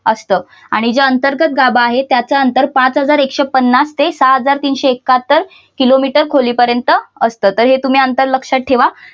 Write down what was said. असतं आणि जे अंतर्गत गाभा आहे त्याच अंतर पाच हजार एकशे पन्नास ते सहा हजार तीनशे एकाहत्तर किलोमीटर खोलीपर्यंत असतं. तर हे तुम्ही अंतर लक्षात ठेवा.